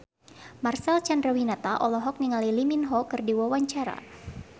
Marcel Chandrawinata olohok ningali Lee Min Ho keur diwawancara